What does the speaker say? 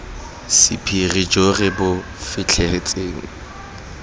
sephiri jo re bo fitlhetseng